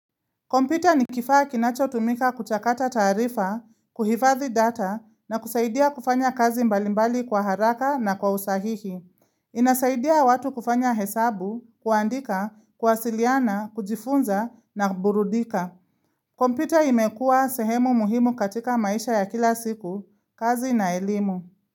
Komputa ni kifaa kinacho tumika kuchakata tarifa, kuhifathi data na kusaidia kufanya kazi mbalimbali kwa haraka na kwa usahihi. Inasaidia watu kufanya hesabu, kuandika, kwasiliana, kujifunza na burudika. Kompita imekua sehemu muhimu katika maisha ya kila siku, kazi na elimu.